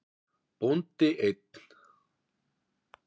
Bóndi einn.